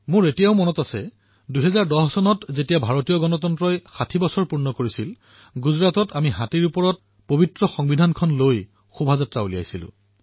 মোৰ এতিয়াও মনত আছে ২০১০ চনত যেতিয়া ভাৰতৰ গণতন্ত্ৰৰ ৬০ বছৰ পূৰ্ণ হৈছিল তেতিয়া আমি গুজৰাটত হাতীৰ ওপৰত সংবিধান ৰাখি শোভাযাত্ৰা উলিয়াইছিলো